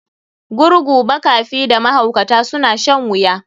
Gurgu, makafi da mahaukata suna shan wuya.